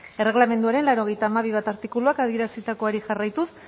erregelamenduaren laurogeita hamabi puntu bat artikuluak adierazitakoari jarraituz